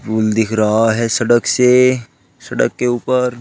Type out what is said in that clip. Pool दिख रहा है सड़क से सड़क के ऊपर।